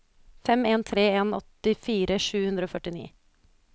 fem en tre en åttifire sju hundre og førtini